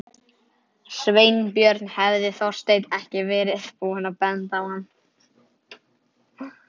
Sveinbjörn hefði Þorsteinn ekki verið búinn að benda á hann.